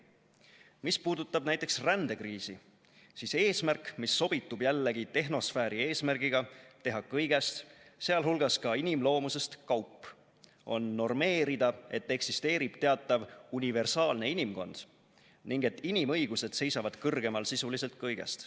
Mis puutub rändekriisi, siis eesmärk – mis sobitub jällegi tehnosfääri eesmärgiga teha kõigest, sh ka inimloomusest, kaup – on normeerida, et eksisteerib teatav "universaalne inimkond" ning et inimõigused seisavad kõrgemal sisuliselt kõigest.